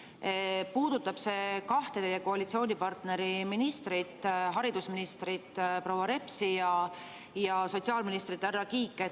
See puudutab kahte teie koalitsioonipartneri ministrit, haridusministrit proua Repsi ja sotsiaalministrit härra Kiike.